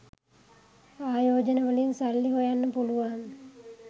ආයෝජනවලින් සල්ලි හොයන්න පුලුවන්